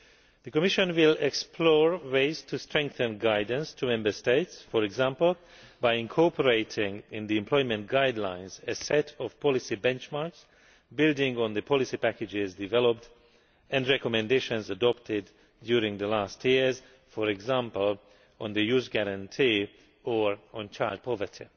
The Commission will explore ways to strengthen guidance to Member States, for example by incorporating in the employment guidelines a set of policy benchmarks building on the policy packages developed and recommendations adopted in recent years, for example on the Youth Guarantee or on child poverty.